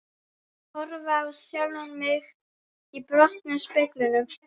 Horfa á sjálfan mig í brotnum speglinum.